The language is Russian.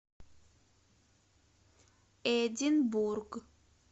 эдинбург